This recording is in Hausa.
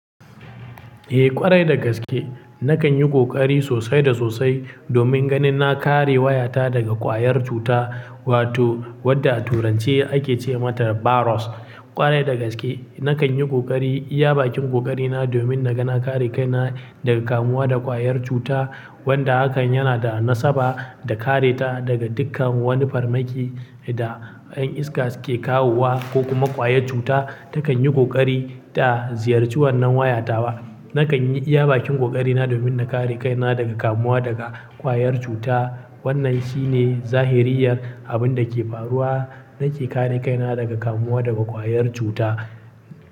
Eh ƙwarai da gaske, nakan yi ƙoƙari sosai da sosai domin ganin na kare wayata daga ƙwayar cuta wato wadda a turanci ake ce mata virus. Ƙwarai da gaske nakan yi ƙoƙari iya bakin ƙoƙari na domin na ga na kare kaina daga kamuwa da ƙwayar cuta wanda hakan yana da nasaba da kareta daga dukkan wani farmaki da ƴan iska sukke kawowa ko kuma ƙwayar cuta takan yi ƙoƙari ta ziyarci wannan wayata ba. Nakan yi iya bakin ƙoƙari na domin na kare kaina daga kamuwa daga ƙwayar cuta. Wannan shi ne zahiriyar abin da ke faruwa nake kare kaina daga kamuwa daga ƙwayar cuta.